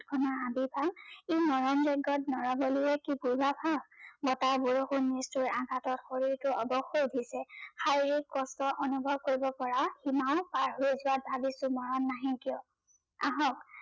এখনি হাবি পাই ই যজ্ঞত নৰবলিয়ে বতাহ, বৰষুন নিষ্ঠোৰ আঘাতত শৰীৰটো অৱস হৈ উঠিছে আৰু সেই কষ্টৰ অনুভৱ কৰিব পৰা সিমাও পাৰ হৈ ভাগি আহক